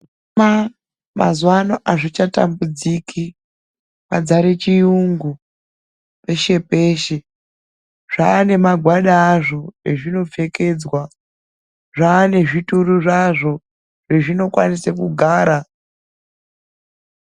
Zvirema mazuwa ano azvichatambudziki. Padzare chiyungu peshe peshe. Zvaane magwada azvo ezvinopfekedzwa. Zvaane zvituru zvazvo zvezvinokwanise kugara.